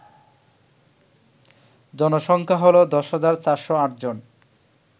জনসংখ্যা হল ১০৪০৮ জন